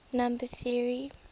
number theory